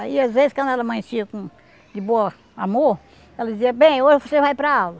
Aí, às vezes, quando ela amanhecia com de bom amor, ela dizia, bem, hoje você vai para aula.